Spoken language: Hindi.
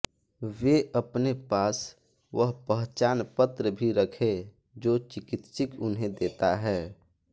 वे अपने पास वह पहचान पत्र भी रखें जो चिकित्सक उन्हें देता है